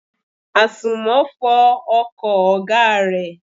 Àsùnmọ́ fọ ọkọ̀ ọ̀gá rẹ.